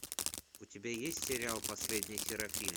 у тебя есть сериал последний серафим